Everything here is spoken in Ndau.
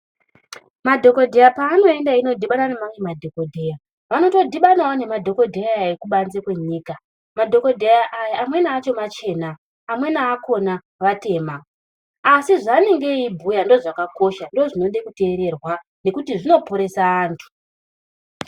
Madhokodheya kwaanoendeyo koodhibana neamwe madhokodheya anotodhibanawo nemadhokodheya ekubanze kwenyika, madhokodheya aya amweni akhona machena amweni achona vatema asi zvavanenge veibhuya zvakakosha ndizvo zvinoda kuteererwa ngekuti zvinoporesa anthu.